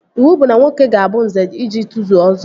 Iwu bụ na nwoke ga-abụ Nze iji tozuo Ọzọ